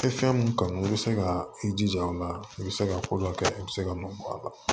Fɛn mun kanu i bɛ se ka i jija o la i bɛ se ka ko dɔ kɛ i bɛ se ka nɔ bɔ a la